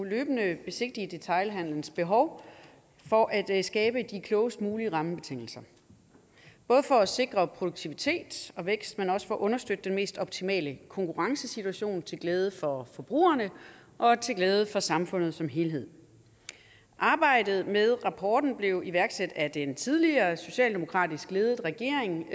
løbende at besigtige detailhandelens behov for at skabe de klogest mulige rammebetingelser både for at sikre produktivitet og vækst men også for at understøtte den mest optimale konkurrencesituation til glæde for forbrugerne og til glæde for samfundet som helhed arbejdet med rapporten blev iværksat af den tidligere socialdemokratisk ledede regering